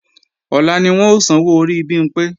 Ọ̀la ni wọ́n ó sanwó orí Bimpé